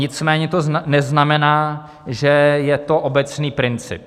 Nicméně to neznamená, že je to obecný princip.